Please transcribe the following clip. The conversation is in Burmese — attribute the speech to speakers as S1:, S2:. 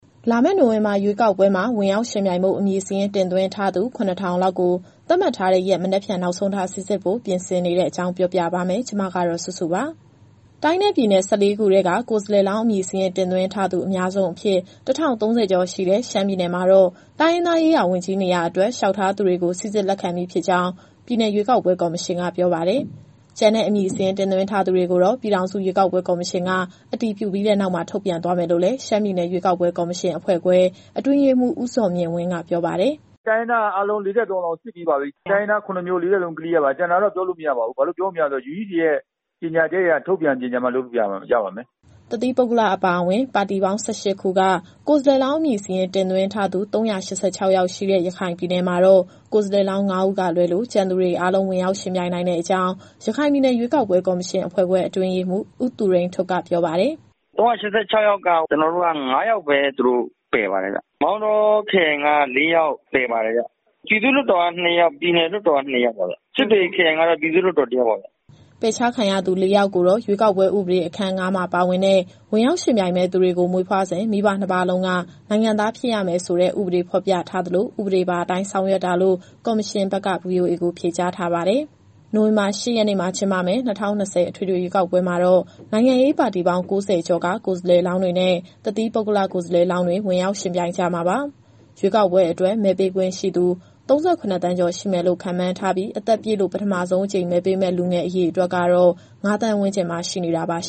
S1: လာမယ့် နိုဝင်ဘာရွေးကောက်ပွဲမှာ ဝင်ရောက်ယှဉ်ပြိုင်ဖို့ အမည်စာရင်း တင်သွင်းထားသူ ၇,၀၀၀ လောက်ကို သတ်မှတ်ထားတဲ့ရက် မနက်ဖြန် နောက်ဆုံးထား စိစစ်ဖို့ ပြင်ဆင်နေတဲ့အကြောင်း ဗွီအိုအေမြန်မာပိုင်း သတင်းထောက်စုစုက ပြောပြပါမယ်။ တိုင်းနဲ့ပြည်နယ် ၁၄ ခုထဲက ကိုယ်စားလှယ်လောင်းအမည်စာရင်း တင်သွင်းထားသူ အများဆုံးအဖြစ် ၁,၀၃၀ ကျော်ရှိတဲ့ ရှမ်းပြည်နယ်မှာတော့ တိုင်းရင်းသားရေးရာ ဝန်ကြီးနေရာအတွက် လျှောက်ထားသူတွေကို စိစစ်လက်ခံပြီးဖြစ်ကြောင်း ပြည်နယ်ရွေးကောက်ပွဲ ကော်မရှင်က ပြောပါတယ်။ ကျန်တဲ့အမည်စာရင်း တင်သွင်းထားသူတွေကိုတော့ ပြည်ထောင်စု ရွေးကောက်ပွဲ ကော်မရှင်က အတည်ပြုပြီးနောက် ထုတ်ပြန်သွားမယ်လို့လည်း ရှမ်းပြည်နယ်ရွေးကောက်ပွဲ ကော်မရှင်အဖွဲ့ခွဲ့ အတွင်းရေးမှူး ဦးဇော်မြင့်ဝင်းက ပြောပါတယ်
S2: ။ “တိုင်းရင်းသားရေးရာက အားလုံး ၄၃ ယောက်လုံးစစ်ပြီးပါပြီ။ တိုင်းရင်းသား ၇ မျိုး ၄၃ ယောက်လုံး Clear ပါ။ ကျန်တာတော့ ပြောလို့မရပါဘူး။ ဘာလို့ပြောမရလည်းဆိုတော့ UEC ရဲ့ ကြေညာချက်အရ ထုတ်ပြန်ပြီးမှ လုပ်လို့ရပါမယ်။”
S1: တသီးပုဂ္ဂလအပါအဝင် ပါတီပေါင်း ၁၈ ခုက ကိုယ်စားလှယ်လောင်း အမည်စာရင်း တင်သွင်းထားသူ ၃၈၆ ယောက်ရှိတဲ့ ရခိုင်ပြည်နယ်မှာတော့ ကိုယ်စားလှယ်လောင်း ၅ ဦးကလွဲလို့ ကျန်သူတွေအားလုံး ဝင်ရောက်ယှဉ်ပြိုင်နိုင်တဲ့အကြောင်း ရခိုင်ပြည်နယ်ရွေးကောက်ပွဲ ကော်မရှင်အဖွဲ့ခွဲ အတွင်းရေးမှူး ဦးသူရိန်ထွဋ်က ပြောပါတယ်
S2: ။ “၃၈၆ ယောက်မှာ ကျနော်တို့က ၅ ယောက်ပဲ ပယ်ပါတယ်ဗျ။ မောင်တောခရိုင်က ၄ ယောက်ပယ်ပါတယ်ဗျ။ ပြည်သူ့လွှတ်တော်က ၂ ယောက်၊ ပြည်နယ်လွှတ်တော်က ၂ ယောက်ပါဗျ။ စစ်တွေခရိုင်ကတော့ ပြည်သူ့လွှတ်တော် ၁ ယောက်ပါဗျ။”
S1: ပယ်ချခံရသူ ၄ ယောက်ကိုတော့ ရွေးကောက်ပွဲဥပဒေအခန်း ၅ မှာပါဝင်တဲ့ ဝင်ရောက်ယှဉ်ပြိုင်မယ့်သူတွေကို မွေးဖွားစဉ် မိဘနှစ်ပါးလုံးက နိုင်ငံသားဖြစ်ရမယ်ဆိုတဲ့ ဥပဒေဖော်ပြထားသလို ဥပဒေပါအတိုင်း ဆောင်ရွက်တာလို့ ကော်မရှင်ဘက်က VOA ကိုဖြေကြားထားပါတယ်။ နိုဝင်ဘာ ၈ ရက်နေ့မှာ ကျင်းပမယ့် ၂၀၂၀ အထွေထွေရွေးကောက်ပွဲမှာ နိုင်ငံရေးပါတီပေါင်း ၉၀ ကျော်က ကိုယ်စားလှယ်လောင်းတွေနဲ့ တသီးပုဂ္ဂလကိုယ်စားလှယ်လောင်းတွေ ဝင်ရောက်ယှဉ်ပြိုင်ကြမှာပါ။ ရွေးကောက်ပွဲအတွက် မဲပေးခွင့်ရှိသူ ၃၇ သန်းကျော်ရှိမယ်လို့ ခန့်မှန်းထားပြီး၊ အသက်ပြည့်လို့ ပထမဆုံးအကြိမ် မဲပေးမယ့်လူငယ်အရေအတွက်ကတော့ ၅,၀၀၀,၀၀၀ ဝန်းကျင်မှာရှိနေတာပါ။